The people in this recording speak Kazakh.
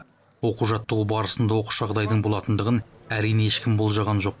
оқу жаттығу барысында оқыс жағдайдың болатындығын әрине ешкім болжаған жоқ